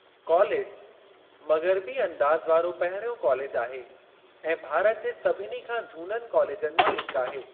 College, मग़रबी अंदाज वारो पहिरियों कॉलेज आहे ऐं भारत जे सभिनी खां झूननि कॉलेजनि मां हिक आहे।